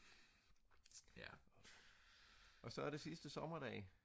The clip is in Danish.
og så er det sidste sommerdag